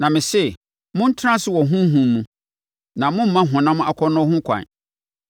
Na mese, montena ase wɔ Honhom mu, na moremma honam akɔnnɔ ho kwan.